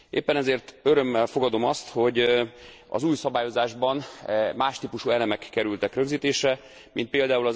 Éppen ezért örömmel fogadom azt, hogy az új szabályozásban más típusú elemek kerültek rögzítésre, mint pl.